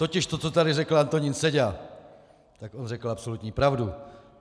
Totiž to, co tady řekl Antonín Seďa, tak on řekl absolutní pravdu.